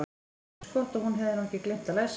Eins gott að hún hefði nú ekki gleymt að læsa.